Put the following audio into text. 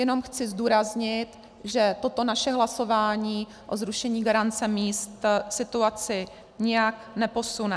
Jenom chci zdůraznit, že toto naše hlasování o zrušení garance míst situaci nijak neposune.